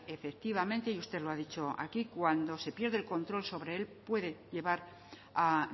efectivamente y usted lo ha dicho aquí cuando se pierde el control sobre él puede llevar a